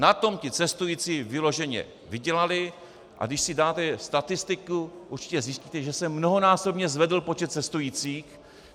Na tom ti cestující vyloženě vydělali, a když si dáte statistiku, určitě zjistíte, že se mnohonásobně zvedl počet cestujících.